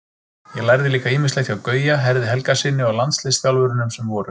Ég lærði líka ýmislegt hjá Gauja, Herði Helgasyni og landsliðsþjálfurunum sem voru.